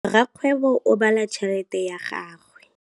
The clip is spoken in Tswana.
Rakgwêbô o bala tšheletê ya gagwe.